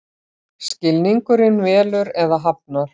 Skilningurinn velur eða hafnar.